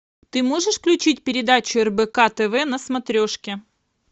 ты можешь включить передачу рбк тв на смотрешке